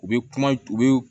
U bɛ kuma u bɛ